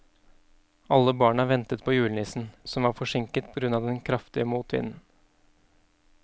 Alle barna ventet på julenissen, som var forsinket på grunn av den kraftige motvinden.